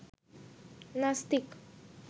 নাস্তিক